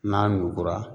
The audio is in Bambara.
N'a ɲugura